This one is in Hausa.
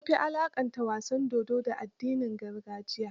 An fi alaqanta wasan dodo, da addinin gargajiya.